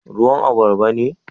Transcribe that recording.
Ruwan albarba ne?